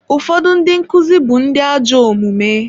Ụfọdụ ndị nkụzi bụ ndị ajọ omume.